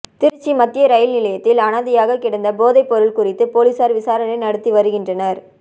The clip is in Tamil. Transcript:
திருச்சி மத்திய ரயில் நிலையத்தில் அனாதையாக கிடந்த போதைப் பொருள் குறித்து போலீசார் விசாரணை நடத்தி வருகின்றனர்